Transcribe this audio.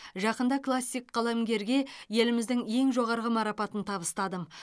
жақында классик қаламгерге еліміздің ең жоғарғы марапатын табыстадым